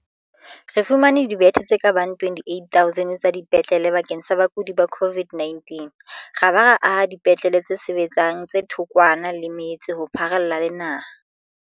Re fumane dibethe tse ka bang 28 000 tsa dipetlele bakeng sa bakudi ba COVID-19 ra ba ra aha dipetlele tse sebetsang tse thokwana le metse ho pharalla le naha.